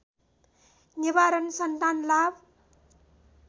निवारण सन्तान लाभ